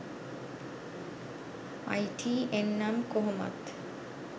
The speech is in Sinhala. අයි ටි එන් නම් කොහොමත්